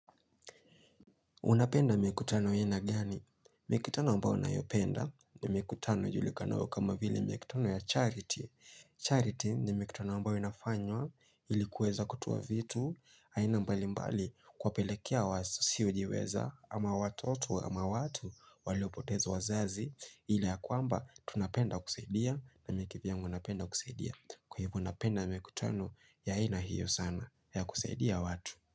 Unapenda mikutano aina gani? Mikutano ambao nayopenda ni mikutano ijulikanao kama vili mikutano ya charity. Charity ni mikutano ambao inafanywa ilikuweza kutoa vitu. Aina mbali mbali kwapelekea wasio ujiweza ama watotu ama watu waliopotezu wazazi. Hili ya kwamba tunapenda kusaidia na mimiki vyang unapenda kusaidia. Kwa hivo unapenda mikutano yaaina hiyo sana ya kusaidia watu.